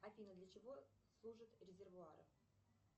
афина для чего служат резервуары